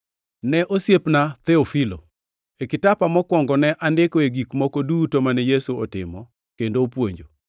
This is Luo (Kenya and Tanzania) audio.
Ne osiepna Theofilo: E kitapa mokwongo ne andikoe gik moko duto mane Yesu otimo kendo opuonjo,